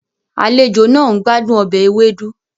Àlejò náà ń gbádùn ọbẹ̀ ewedu